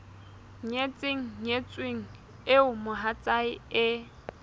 nyetseng nyetsweng eo mohatsae e